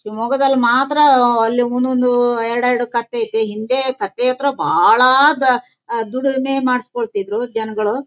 ಶಿವಮೊಗ್ಗದಲ್ಲಿ ಅಲ್ಲಿ ಒಂದ್ ಒಂದು ಎರಡು ಎರಡು ಕತ್ತೆ ಐತ್ತೆ ಹಿಂದೆ ಕತ್ತೆ ಹತ್ರ ಬಹಳ ದ ಅಹ್ ದುಡಿಮೆ ಮಾಡ್ಸ ಕೊಳ್ತಿದ್ದರು ಜನಗಳು.